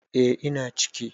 E, ina ciki